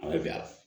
A bɛ bɛn